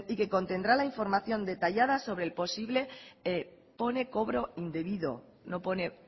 que contendrá la información detallada sobre el posible pone cobro indebido no pone